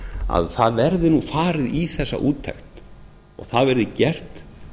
að það verði nú farið í þessa úttekt og það verði gert